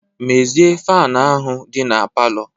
Mezie faanụ ahụ dị na palọ!